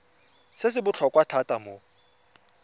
se se botlhokwa thata mo